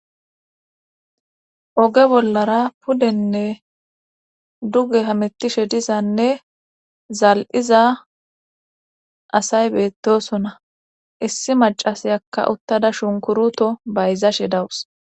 oge bollara pudenne duge hametishe dizanne zal7iza asay beettosona issi macasiyakka uttada shunkuruto bayzashe dawus